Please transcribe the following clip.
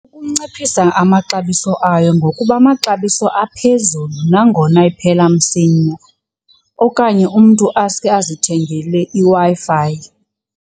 Ukunciphisa amaxabiso ayo ngokuba amaxabiso aphezulu nangona iphela msinya okanye umntu asuke azithengele iWi-Fi.